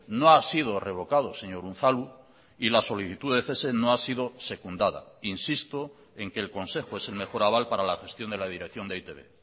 no ha sido revocado señor unzalu y la solicitud de cese no ha sido secundada insisto en que el consejo es el mejor aval para la gestión de la dirección de e i te be